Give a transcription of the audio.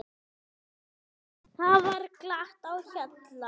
Þá var glatt á hjalla.